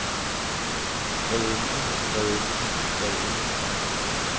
hvadenten hvadenten hvadenten